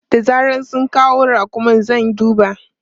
Da zaran sun kawo raƙumin zan duba.